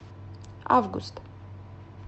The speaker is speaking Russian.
август